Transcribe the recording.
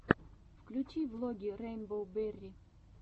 включи влоги рэйнбоу берри